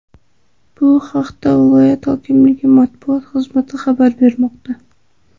Bu haqda viloyat hokimligi matbuot xizmati xabar bermoqda .